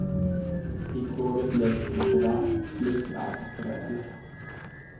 I tråget läggs makadam, sliprar och räler.